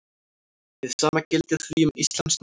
Hið sama gildir því um íslenskt mál.